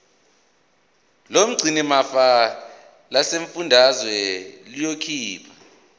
lomgcinimafa lesifundazwe liyokhipha